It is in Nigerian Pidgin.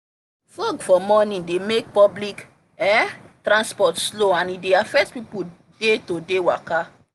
fog for morning they make public um transport slow and e dey affect people day to day waka